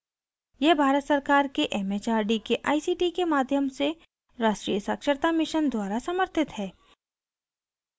यह भारत सरकार के it it आर डी के आई सी टी के माध्यम से राष्ट्रीय साक्षरता mission द्वारा समर्थित है